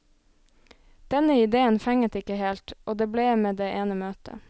Denne idéen fenget ikke helt, og det ble med det ene møtet.